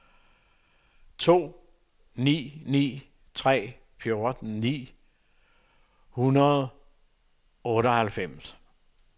to ni ni tre fjorten ni hundrede og otteoghalvfems